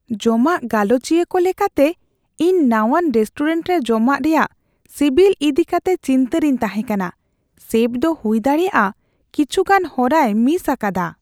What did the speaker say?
ᱡᱚᱢᱟᱜ ᱜᱟᱞᱚᱪᱤᱭᱟᱹ ᱠᱚ ᱞᱮᱠᱟᱛᱮ, ᱤᱧ ᱱᱟᱣᱟᱱ ᱨᱮᱥᱴᱩᱨᱮᱱᱴ ᱨᱮ ᱡᱚᱢᱟᱜ ᱨᱮᱭᱟᱜ ᱥᱤᱵᱤᱞ ᱤᱫᱤ ᱠᱟᱛᱮ ᱪᱤᱱᱛᱟᱹ ᱨᱤᱧ ᱛᱟᱦᱮᱸ ᱠᱟᱱᱟ ᱾ ᱥᱮᱯᱷ ᱫᱚ ᱦᱩᱭᱫᱟᱲᱮᱭᱟᱜᱼᱟ ᱠᱤᱪᱷᱤᱜᱟᱱ ᱦᱚᱨᱟᱭ ᱢᱤᱥ ᱟᱠᱟᱫᱟ ᱾